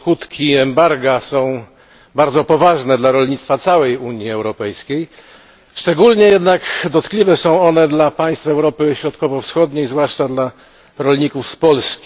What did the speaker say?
Skutki embarga są bardzo poważne dla rolnictwa całej Unii Europejskiej, szczególnie jednak dotkliwe są one dla państw Europy Środkowo Wschodniej, zwłaszcza dla rolników z Polski.